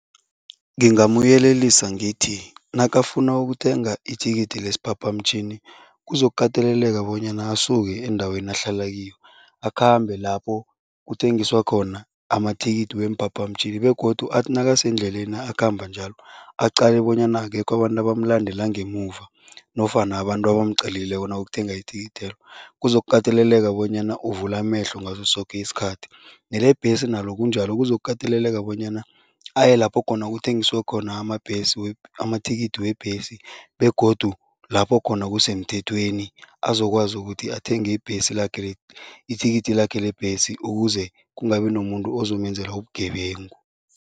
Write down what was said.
Ngingamyelelisa ngithi, nakafuna ukuthenga ithikithi lesiphaphamtjhini kuzokukateleleka bonyana asuke endaweni ahlala kiyo, akhambe lapho kuthengiswa khona amathikithi weemphaphamtjhini begodu athi nakasendleleni akhamba njalo, aqale bonyana akekho abantu abamulandela ngemuva nofana abantu abamqalileko nakayokuthenga ithikithelo. Kuzokukateleleka bonyana uvule amehlo ngaso soke isikhathi. Nelebhesi nalo kunjalo, kuzokukateleleka bonyana aye lapho khona kuthengiswa khona amabhesi amathikithi webhesi begodu lapho khona kusemthethweni, azokwazi ukuthi athenge ibhesi lakhe ithikithi lakhe lebhesi ukuze kungabi nomuntu ozomenzela ubugebengu.